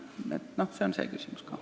Nii et see on ka küsimus.